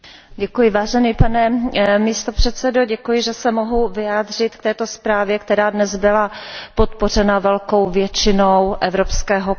Pane předsedající, děkuji, že se mohu vyjádřit k této zprávě, která dnes byla podpořena velkou většinou Evropského parlamentu.